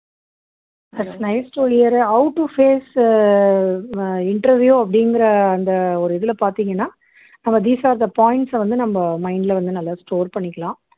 thats nice to hear uh how to face uh ah interview அப்படிங்கற அந்த ஒரு இதுல பாத்தீங்கன்னா நம்ம these are the points uh வந்து நம்ம mind ல வந்து நல்லா store பண்ணிக்கலாம்